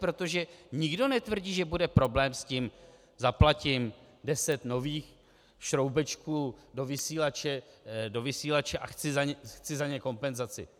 Protože nikdo netvrdí, že bude problém s tím, zaplatím deset nových šroubečků do vysílače a chci za ně kompenzaci.